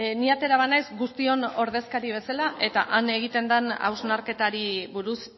ni atera banaiz guztion ordezkari bezala eta han egiten den hausnarketari buruz